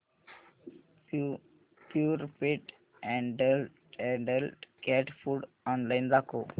Purepet adult cat food online दाखव